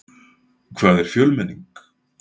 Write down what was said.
Hvað er fjölmenning?